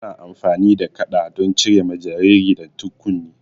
Ana amfani da kaɗa don cire ma jariri dattin kunne